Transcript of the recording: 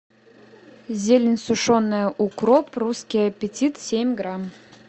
зелень сушеная укроп русский аппетит семь грамм